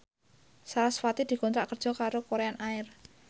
sarasvati dikontrak kerja karo Korean Air